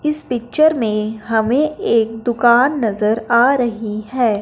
इस पिक्चर में हमें एक दुकान नजर आ रही है।